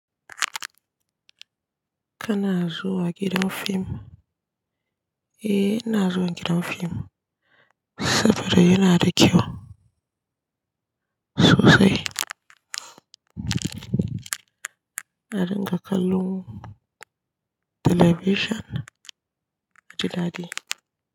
Kana zuwa gidan fim? Eh, ina zuwa gidan fim saboda yana da kyau sosai. Na dinga kallon talabishin naji dadi.